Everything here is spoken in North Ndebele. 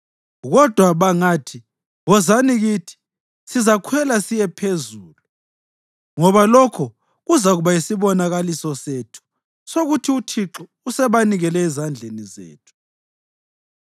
Kodwa bangathi, ‘Wozani kithi,’ sizakhwela siye phezulu ngoba lokho kuzakuba yisibonakaliso sethu sokuthi uThixo usebanikele ezandleni zethu.”